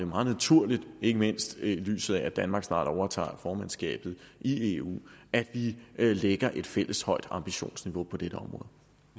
meget naturligt ikke mindst set i lyset af at danmark snart overtager formandskabet i eu at vi lægger et fælles højt ambitionsniveau på dette område